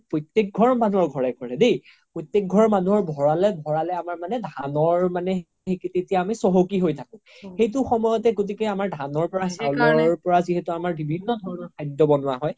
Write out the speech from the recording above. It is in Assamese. প্ৰতেক ঘৰ মানুহৰ ঘৰে ঘৰে দেই প্ৰতেক ঘৰ মানুহৰ ভৰালে ভৰালে আমাৰ মনে ধানৰ তেতিয়া আমি চহ্কি হৈ থাকো সেইতো সময়তে গতিকে আমাৰ ধান চাউলৰ পৰা যিহেতু বিভিন্ন ধৰণৰ খাদ্য ব্নোৱা হয়